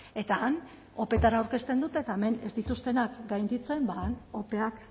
eta han opetara aurkezten dute eta hemen ez dituztenak gainditzen ba han opeak